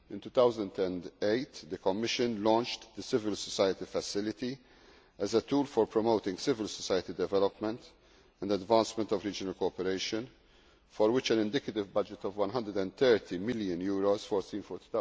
In 2008 the Commission launched the civil society facility as a tool for promoting civil society development and advancement of regional cooperation, for which an indicative budget of EUR 130 million is earmarked for